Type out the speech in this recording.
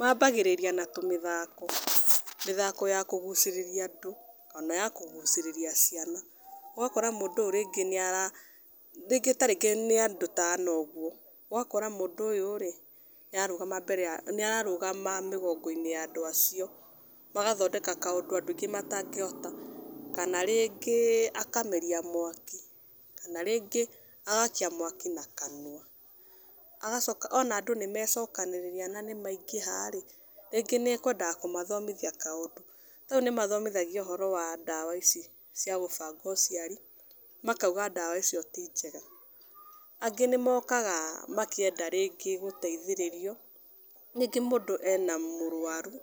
Wa mbagĩrĩria na tũmĩthako, mĩthako ya kũgucĩrĩria andũ kana ya kũgucĩrĩria ciana, ũgakora mũndũ ũyũ rĩngĩ, rĩngĩ nĩ andũ ta ana ũguo, ũgakora mũndũ ũyũ nĩ ararũgama mĩgongo-inĩ ya andũ acio, kana gwĩka kaũndũ andũ aingĩ matangĩhota, kana rĩngĩ akameria mwaki, kana rĩngĩ agakia mwaki na kanua, ona andũ nĩmecokanĩrĩria na nĩ maingĩha rĩngĩ nĩ akwendaga gũthomithia kaũndũ, ta rĩu nĩ mathomithanagia ũhoro wa ndawa ici cia gũbanga ũciari , makauga ndawa icio ti njega angĩ nĩ mokaga makĩenda rĩngĩ gũteithĩrĩrio, rĩngĩ mũndũ ena mũrwaru